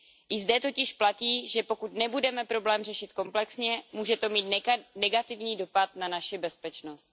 I zde totiž platí, že pokud nebudeme problém řešit komplexně, může to mít negativní dopad na naši bezpečnost.